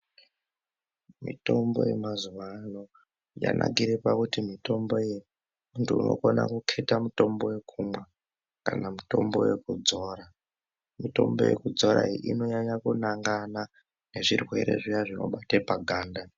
Mitombo yemazuvano yanakire pakuti mitombo iyi, ndiwe unokona kuketa mitombo yekumwa kana mitombo yekudzora. Mitombo yekudzora iyi inonyanya kunangana nezvirwere zviyana zvinobate paganda.